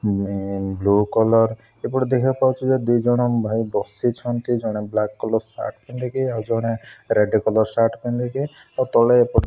blue colour ଏପଟେ ଦେଖିବାକୁ ପାଉଛୁ ଦି ଜଣ ଭାଇ ବସିଛନ୍ତି ଜଣେ ବ୍ଲାକ କଲର୍ ସାର୍ଟ ପିନ୍ଧିକି ଆଉଜଣେ ରେଡ କଲର ସାର୍ଟ ପିନ୍ଧକି ଆଉ ତଳେ --